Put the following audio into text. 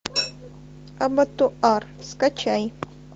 абатуар скачай